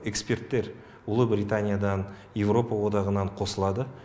эксперттер ұлыбританиядан европа одағынан қосылады